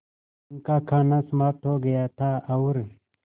उनका खाना समाप्त हो गया था और